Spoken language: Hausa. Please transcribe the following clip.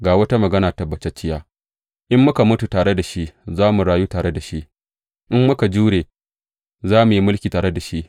Ga wata magana tabbatacciya, In muka mutu tare da shi, za mu rayu tare da shi; in muka jimre, za mu yi mulki tare da shi.